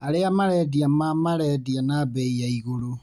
Arĩa marendia ma marendia na bei ya igũrũ.